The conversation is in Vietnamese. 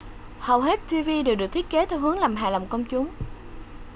hầu hết tv đều được thiết kế theo hướng làm hài lòng công chúng